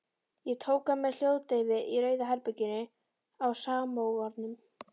Ég tók hann með hljóðdeyfi í Rauða herberginu á Samóvarnum.